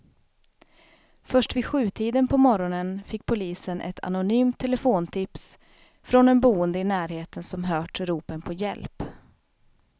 Först vid sjutiden på morgonen fick polisen ett anonymt telefontips från en boende i närheten som hört ropen på hjälp.